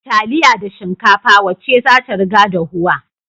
Da taliya da shikafa wacce zata riga dahuwa